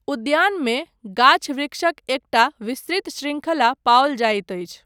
उद्यानमे गाछ वृक्षक एकटा विस्तृत शृंखला पाओल जाइत अछि।